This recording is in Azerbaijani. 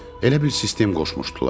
Elə bil sistem qoşmuşdular.